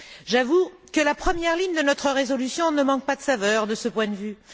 J'avoue que la première ligne de notre résolution ne manque pas de saveur de ce point de vue.